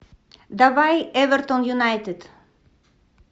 давай эвертон юнайтед